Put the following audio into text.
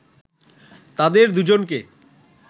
তাদের দুজনকে